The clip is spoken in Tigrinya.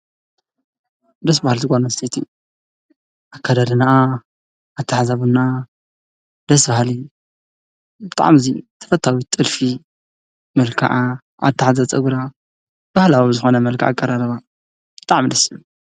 ደስ በሃሊት ጓል ኣንስተይቲ ኣካዳድንኣ ኣታሕዛ ቡናኣ ደስ በሃሊ ብጣዕሚ ተፈታዊት ጥልፊ፣ መልክዓ ኣታሕዛ ፀጉራ ባህላዊ ዝኾነ መልክዕ ኣቀራርባ ብጣዕሚ ደስ ዝብል።